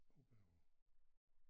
Oppe over